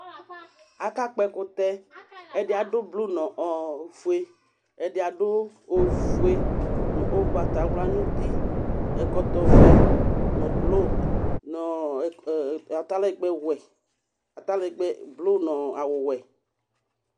Akakpɔ ɛkʋtɛ Ɛdɩ adʋ blu nʋ ofue Ɛdɩ adʋ ofue nʋ ʋgbatawla nʋ uti, ɛkɔtɔvɛ nʋ blo nʋ ɔ ɔ e tɛ atalɛgbɛwɛ, atalɛlɛgbɛ blo nʋ awʋwɛ